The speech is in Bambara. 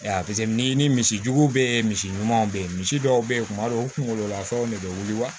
n'i ni misi jugu bɛ yen misi ɲumanw bɛ yen misi dɔw bɛ yen kuma dɔw u kungololafanw de bɛ wili wa